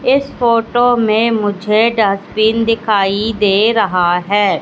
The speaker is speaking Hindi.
इस फोटो में मुझे डस्टबिन दिखाई दे रहा है।